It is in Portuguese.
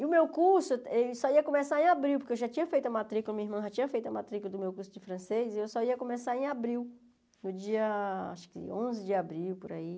E o meu curso só ia começar em abril, porque eu já tinha feito a matrícula, minha irmã já tinha feito a matrícula do meu curso de francês, e eu só ia começar em abril, no dia, acho que onze de abril, por aí.